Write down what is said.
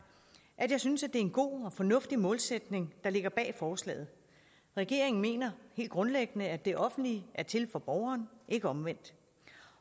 at jeg synes at det en god og fornuftig målsætning der ligger bag forslaget regeringen mener helt grundlæggende at det offentlige er til for borgerne ikke omvendt